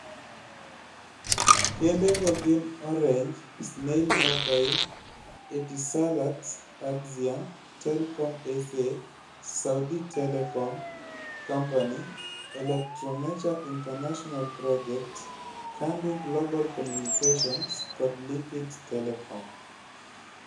Kembego gin Orange, Snail Mobile, Etisalat, Axian, Telkom SA, Saudi Telecom Company, Electromecha International Projects, Kandu Global Communications kod Liquid Telecom.